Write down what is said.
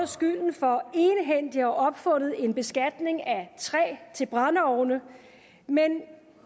skylden for egenhændigt at have opfundet en beskatning af træ til brændeovne men